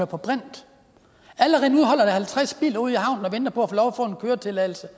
på brint allerede nu holder der halvtreds biler ude i havnen og venter på at få en køretilladelse